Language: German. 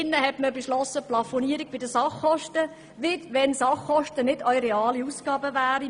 Man hat hier eine Plafonierung bei den Sachkosten beschlossen, als ob Sachkosten keine realen Ausgaben wären.